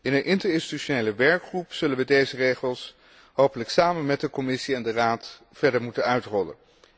In een interinstitutionele werkgroep zullen we deze regels hopelijk samen met de Commissie en de Raad verder moeten uitrollen.